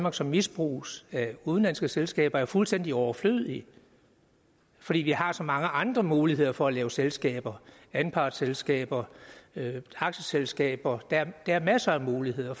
og som misbruges af udenlandske selskaber er fuldstændig overflødige fordi vi har så mange andre muligheder for at lave selskaber anpartsselskaber aktieselskaber der er masser af muligheder